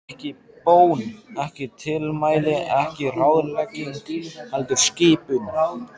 Ekki bón, ekki tilmæli, ekki ráðlegging, heldur skipun.